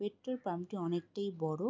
Petrol পাম্পটি অনকেটিই বড়ো।